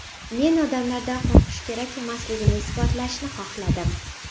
Men odamlardan qo‘rqish kerak emasligini isbotlashni xohladim.